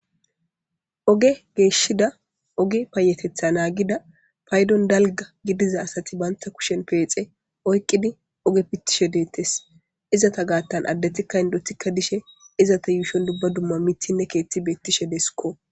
Oge geeshida, oge payateththa naagida, paydon dalgga gidiza asati bantta kushen peexe oyqudi oge pitishe deetees. Izata gaatan addetikka indotikka dishe izata yuushon dumma dumma miththinne keeththi beetishe deskko.